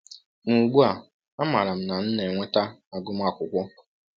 Ma ugbu a amaara m na m na-enweta agụmakwụkwọ.